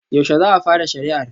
Yaushe za a fara shari'ar?